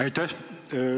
Aitäh!